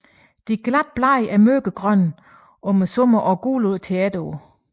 De glatte blade er mørkegrønne om sommeren og gule om efteråret